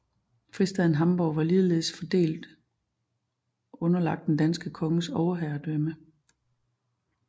Fristaden Hamborg var ligeledes formelt underlagt den danske konges overherredømme